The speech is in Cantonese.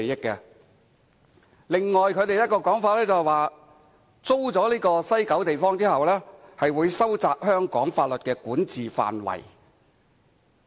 此外，他們的另一個說法，是租出西九地方後，便會收窄香港法律的管轄範圍。